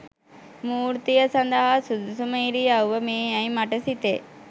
මූර්තිය සදහා සුදුසුම ඉරියව්ව මේ යැයි මට සිතේ